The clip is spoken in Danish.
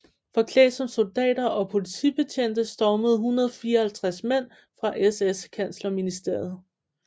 Forklædt som soldater og politibetjente stormede 154 mænd fra SS kanslerministeriet